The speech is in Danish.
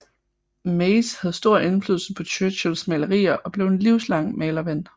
Maze havde stor indflydelse på Churchills malerier og blev en livslang malerven